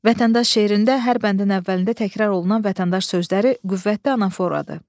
Vətəndaş şeirində hər bəndin əvvəlində təkrar olunan vətəndaş sözləri qüvvətli anaforadır.